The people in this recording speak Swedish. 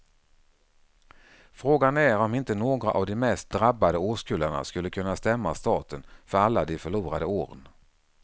Frågan är om inte några av de mest drabbade årskullarna skulle kunna stämma staten för alla de förlorade åren.